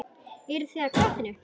Eruð þið í gatinu?